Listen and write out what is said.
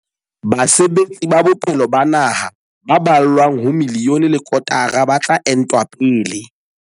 Basebetsi ba bophelo ba naha ba ballwang ho miliyone le kotara ba tla entwa pele.